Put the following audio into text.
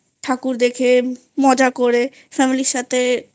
ঠাকুর দেখে মজা করে Family র সাথে